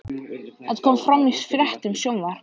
Þetta kom fram í fréttum Sjónvarps